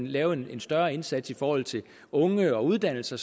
lave en større indsats i forhold til unge og uddannelse